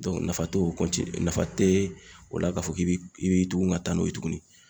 nafa tɛ o nafa tɛ o la k'a fɔ k'i bɛ i bi tugun ka taa n'o ye tuguni.